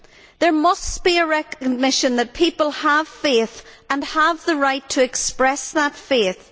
There must be a recognition that people have faith and have the right to express that faith.